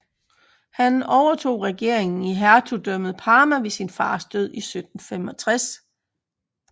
Han overtog regeringen i Hertugdømmet Parma ved sin fars død i 1765